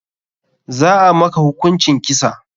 Za a maka hukuncin kisa.